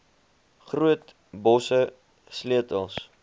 groot bosse sleutels